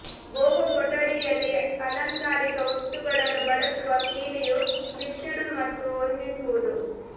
boho ಕೊಠಡಿಯಲ್ಲಿ ಅಲಂಕಾರಿಕ ವಸ್ತುಗಳನ್ನು ಬಳಸುವ ಕೀಲಿಯು ಮಿಶ್ರಣ ಮತ್ತು ಹೊಂದಿಸುವುದು